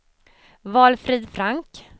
Valfrid Frank